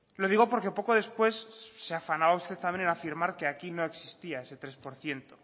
lo digo porque poco después se afanaba usted también en afirmar que aquí no existía ese tres por ciento